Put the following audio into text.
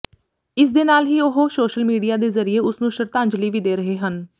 ਇਸਦੇ ਨਾਲ ਹੀ ਉਹ ਸੋਸ਼ਲ ਮੀਡੀਆ ਦੇ ਜ਼ਰੀਏ ਉਸਨੂੰ ਸ਼ਰਧਾਂਜਲੀ ਵੀ ਦੇ ਰਹੇ ਹਨ